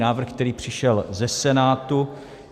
Návrh, který přišel ze Senátu.